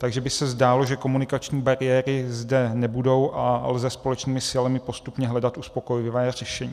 Takže by se zdálo, že komunikační bariéry zde nebudou a lze společnými silami postupně hledat uspokojivé řešení.